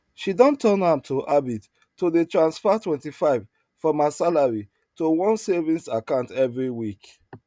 she don turn am to habit to dey transfer 25 from her salary to one savings account every week